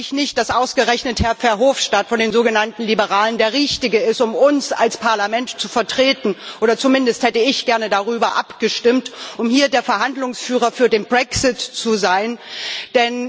Dann glaube ich nicht, dass ausgerechnet Herr Verhofstadt von den sogenannten Liberalen der Richtige ist, um uns als Parlament zu vertreten oder zumindest hätte ich gerne darüber abgestimmt, ob er der Verhandlungsführer für den Brexit sein soll.